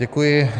Děkuji.